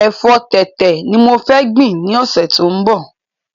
Èfọ́ tẹ̀tẹ̀ ni mo fẹ gbìn ni ọ̀sẹ̀ tó ń bọ̀